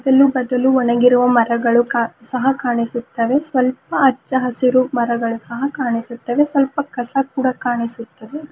ಇಲ್ಲಿ ಬದಲು ಒಗಣಿರುವ ಮರಗಳು ಕಾ ಸಹ ಕಾಣಿಸುತ್ತವೆ ಸ್ವಲ್ಪ ಹಚ್ಚ ಹಸಿರು ಮರಗಳು ಸಹ ಕಾಣಿಸುತ್ತವೆ ಸ್ವಲ್ಪ ಕಸ ಕೂಡ ಕಾಣಿಸುತ್ತದೆ.